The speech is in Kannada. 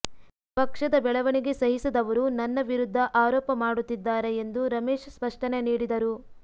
ಪಕ್ಷದ ಬೆಳವಣಿಗೆ ಸಹಿಸದವರುನನ್ನ ವಿರುದ್ಧ ಆರೋಪ ಮಾಡುತ್ತಿದ್ದಾರೆ ಎಂದು ರಮೇಶ್ ಸ್ಪಷ್ಟನೆ ನೀಡಿದರು